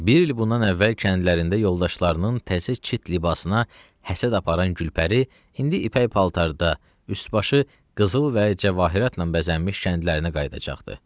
Bir il bundan əvvəl kəndlərində yoldaşlarının təzə çit libasına həsəd aparan Gülpəri indi ipək paltarda, üst-başı qızıl və cəvahiratla bəzənmiş kəndlərinə qayıdacaqdı.